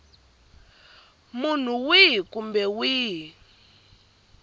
munhu wihi kumbe wihi loyi